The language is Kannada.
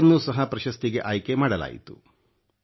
ಅವರನ್ನೂ ಸಹ ಪ್ರಶಸ್ತಿಗೆ ಆಯ್ಕೆ ಮಾಡಲಾಯಿತು